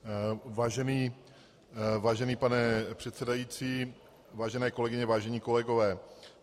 Vážený pane předsedající, vážené kolegyně, vážení kolegové.